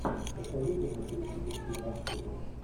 посоветуй мне туристические маршруты